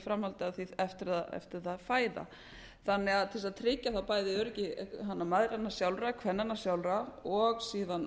framhaldi af því eftir að þær fæða þannig að til að tryggja öryggi mæðranna sjálfra kvennanna sjálfra og síðan